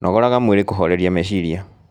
Nogoraga mwĩrĩ kũhorerĩa mecirĩa